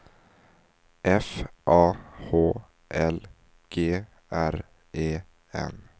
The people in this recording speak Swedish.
F A H L G R E N